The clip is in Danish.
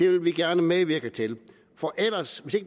vil vi gerne medvirke til